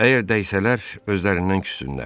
Əgər dəysələr, özlərindən küssünlər.